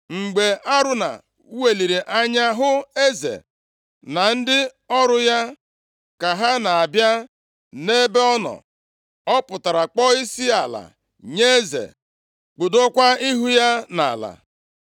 Mgbe Arauna weliri anya hụ eze na ndị ọrụ ya ka ha na-abịa nʼebe ọ nọ, ọ pụtara kpọọ isiala nye eze. Kpudokwa ihu ya nʼala.